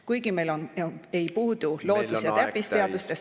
Kuigi meil ei puudu loodus- ja täppisteadustest ...